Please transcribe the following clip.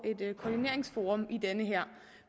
et koordineringsforum